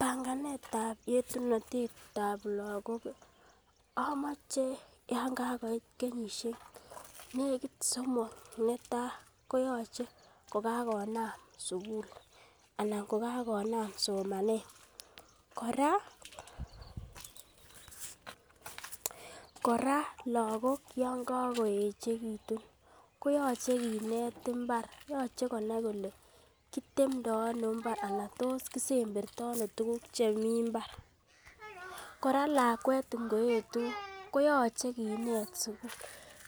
Banganet ab yetunotet ab lagok amoche yon kagoit kenyisiek negit somok netai koyoche kokakonam sugul anan ko kakonam somanet kora lagok yon kagoyechegitun, koyoche kinet imbar, yoche konai kole kitemdo ano anan tos kisemberto ano tuguk chemi mbar kora lakwet inoyetu koyoche kinet sugul,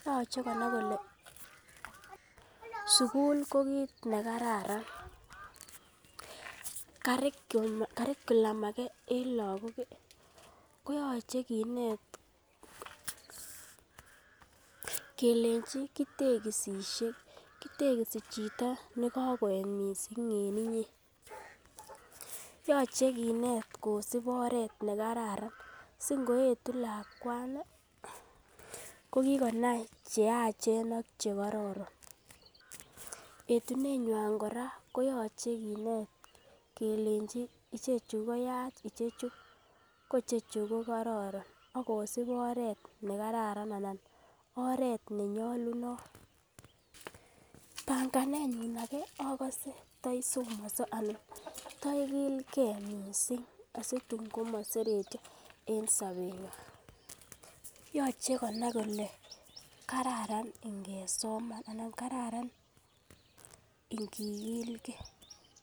yoche konai kole sugul ko kit nekararan. curriculum age en lagok ko yoche kinet kelenchi kitegisisie kitegisi chito ne kagoet mising en inye. Yoche kinet kosib oret ne kararan singoetu lakwni ko kigonai che yachen ak che kororon yetunenywan kora koyoche kinet kelenchi ichechu koyach icheju ko icheju ko kororon ak kosib oret ne karara ana oret ne nyolunot banganenyun age agose to somonso anan ta igilge mising asitun komoseretyo en sobenywan, yoche konaikole kararan ingesoman anan kararan ingikilge.